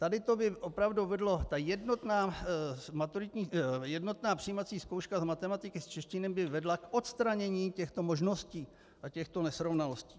Tady to by opravdu vedlo - ta jednotná přijímací zkouška z matematiky, z češtiny, by vedla k odstranění těchto možností a těchto nesrovnalostí.